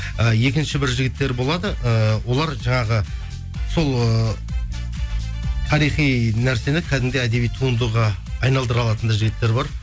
і екінші бір жігіттер болады ыыы олар жаңағы сол ыыы тарихи нәрсені кәдімгідей әдеби туындыға айналдыра алатын да жігіттер бар